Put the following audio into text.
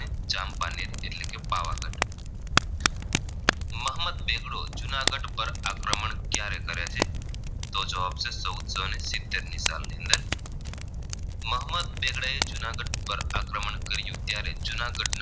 મોહમ્મદ બેગડો જૂનાગઢ પર આક્રમણ ક્યારે કરે છે તો જવાબ છે ચૌદસો સીતેર ની સાલની અંદર મોહમ્મદ બેગડા એ જૂનાગઢ પર આક્રમણ કર્યું ત્યારે જૂનાગઢના